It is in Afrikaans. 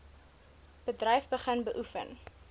bedryf begin beoefen